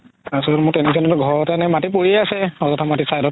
তাৰ পাছত মোৰ এনেকুৱা এনেকুৱা ঘৰতে মাতি পৰিয়ে আছে আজথা মাতি side ত